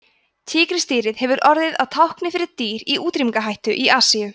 tígrisdýrið hefur orðið að tákni fyrir dýr í útrýmingarhættu í asíu